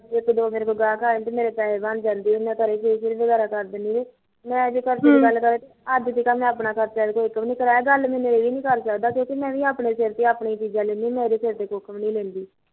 ਇੱਕ ਦੋ ਮੇਰੇ ਕੋਲ ਗਾਹਕ ਆ ਜਾਂਦੇ ਤਾ ਮੇਰੇ ਪੈਸੇ ਬਣ ਜਾਂਦੇ ਮੈ ਵਗੈਰਾ ਕਰ ਦਿੰਦੇ ਮੈਂ ਅੱਜੇ ਤੱਕ ਮੈ ਆਪਣਾ ਖੜਚਾ ਉਹਦੇ ਕੋਲੋ ਨੀ ਕਰਿਆ ਗਲ ਮੈਨੂੰ ਇਹ ਵੀ ਕਰ ਸਕਦਾ ਮੈਂ ਵੀ ਆਪਣੇ ਸਿਰ ਤੇ ਆਪਣੀਆਂ ਚੀਜਾਂ ਲੈਦੀਆਂ ਮੈਂ ਇਹਦੇ ਸਿਰ ਤੇ ਕੁਝ ਨੀ ਲੈਂਦੀ